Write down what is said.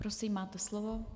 Prosím, máte slovo.